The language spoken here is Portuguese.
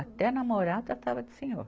Até namorar, tratava de senhor.